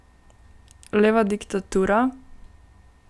Leva diktatura?